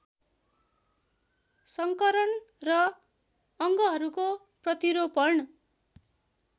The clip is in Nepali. संकरण र अङ्गहरूको प्रतिरोपण